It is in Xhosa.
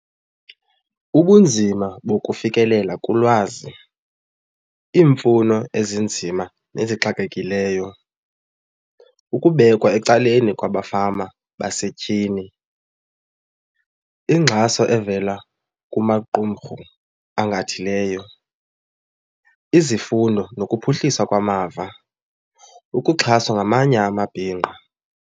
Ubunzima bokufikelela kulwazi, iimfuno ezinzima nezixakekileyo, ukubekwa ecaleni kwabafama basetyhini, ingxaso evela kumaqumrhu angathileyo, izifundo nokuphuhliswa kwamava, ukuxhaswa ngamanye amabhinqa.